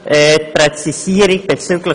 Die Präzisierung bezüglich